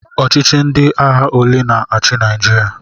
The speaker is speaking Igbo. Ọchịchị ndị agha ole na-achị Naịjirịa?